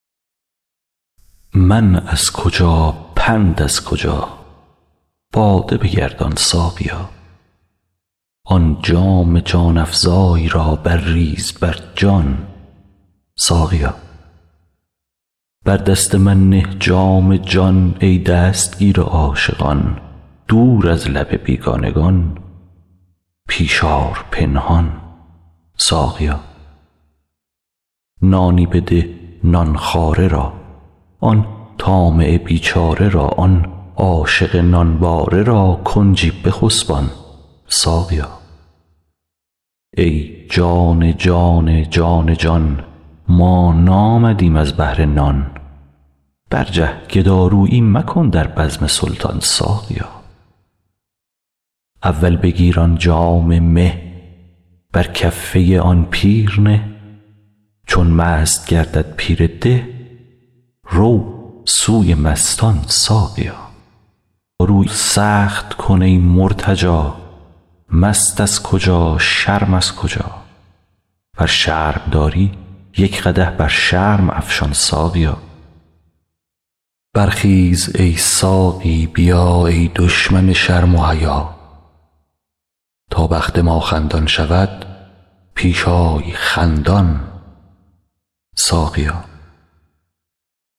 من از کجا پند از کجا باده بگردان ساقیا آن جام جان افزای را برریز بر جان ساقیا بر دست من نه جام جان ای دستگیر عاشقان دور از لب بیگانگان پیش آر پنهان ساقیا نانی بده نان خواره را آن طامع بیچاره را آن عاشق نانباره را کنجی بخسبان ساقیا ای جان جان جان جان ما نامدیم از بهر نان برجه گدارویی مکن در بزم سلطان ساقیا اول بگیر آن جام مه بر کفه آن پیر نه چون مست گردد پیر ده رو سوی مستان ساقیا رو سخت کن ای مرتجا مست از کجا شرم از کجا ور شرم داری یک قدح بر شرم افشان ساقیا برخیز ای ساقی بیا ای دشمن شرم و حیا تا بخت ما خندان شود پیش آی خندان ساقیا